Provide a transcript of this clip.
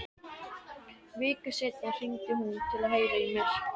Viku seinna hringdi hún til að heyra í mér.